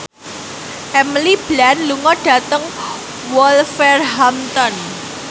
Emily Blunt lunga dhateng Wolverhampton